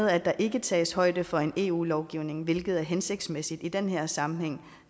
at der ikke tages højde for en eu lovgivning hvilket er hensigtsmæssigt i den her sammenhæng